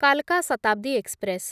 କାଲକା Shatabdi express